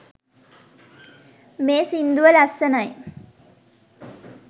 මේ සිංදුව ලස්සනයි